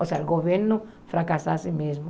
Ou seja, o governo fracassasse mesmo.